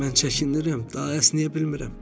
Mən çəkinirəm, daha əsnəyə bilmirəm.